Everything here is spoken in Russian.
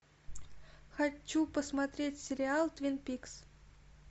хочу посмотреть сериал твин пикс